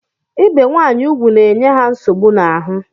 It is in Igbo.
Ibe nwanyị ugwu na-enye ha nsogbu n'ahụ